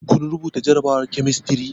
Kun rubuta jarabawar kemistri?